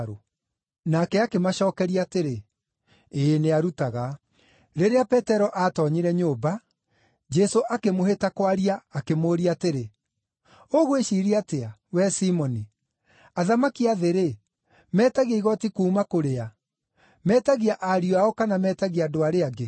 Nake akĩmacookeria atĩrĩ, “Ĩĩ, nĩarutaga.” Rĩrĩa Petero aatoonyire nyũmba, Jesũ akĩmũhĩta kwaria akĩmũũria atĩrĩ, “Ũgwĩciiria atĩa, wee Simoni? Athamaki a thĩ-rĩ, metagia igooti kuuma kũrĩ a? Metagia ariũ ao, kana metagia andũ arĩa angĩ?”